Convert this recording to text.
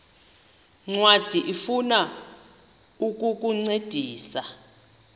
ncwadi ifuna ukukuncedisa